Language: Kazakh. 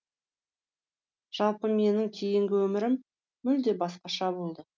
жалпы менің кейінгі өмірім мүлде басқаша болды